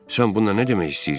Sən bununla nə demək istəyirsən?